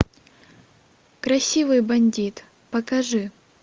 красивый бандит покажи